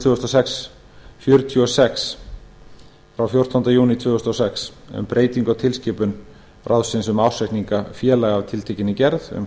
tvö þúsund og sex fjörutíu og sex e b frá fjórtándu júní tvö þúsund og sex um breytingu á tilskipunum ráðsins um ársreikninga félaga af tiltekinni gerð um